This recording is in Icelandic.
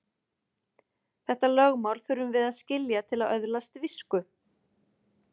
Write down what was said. Þetta lögmál þurfum við að skilja til að öðlast visku.